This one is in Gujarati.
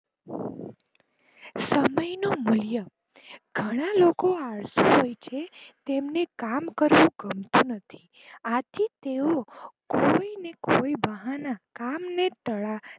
સમયનો મુલ્ય ઘણા લોકો આળસુ હોય છે તેમને કામ કરવું ગમતું નથી આથી તેઓ કોઈને કોઈ બહાના કામ ને તાળા